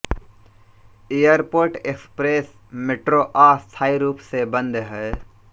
airport express metro अस्थायी रूप से बंद है